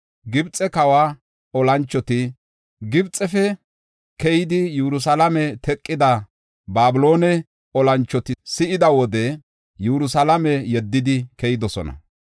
Gibxe kawa olanchoti, Gibxefe keydaysa Yerusalaame teqida Babiloone olanchoti si7ida wode Yerusalaame yeddidi keyidosona.